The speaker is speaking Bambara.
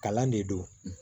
Kalan de don